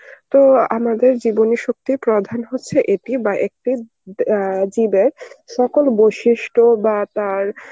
তো আমাদের জীবনে সত্যি প্রাধান হচ্ছে এটি বা একটি অ্যাঁ সকল বৈশিষ্ট্য বা তার